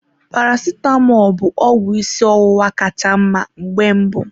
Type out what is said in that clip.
Paracetamọl bụ ọgwụ ịsị ọwụwa ka cha mma mgbe mbụ.